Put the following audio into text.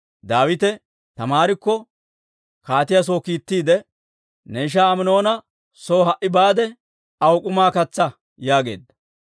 Daawite Taamaarikko kaatiyaa soo kiittiide, «Ne ishaa Aminoona soo ha"i baade, aw k'umaa katsaa» yaageedda.